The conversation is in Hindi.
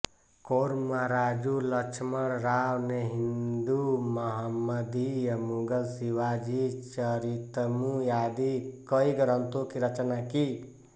कोर्मराजु लक्ष्मणराव ने हिंदू महम्मदीय मुगल शिवा जी चरितमु आदि कई ग्रंथों की रचना की